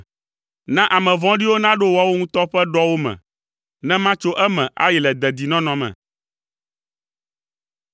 Na ame vɔ̃ɖiwo naɖo woawo ŋutɔ ƒe ɖɔwo me, ne matso eme ayi le dedinɔnɔ me.